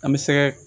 An bɛ sɛgɛ